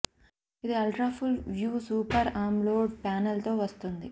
ఇది ultra full view super AMOLED panel తో వస్తుంది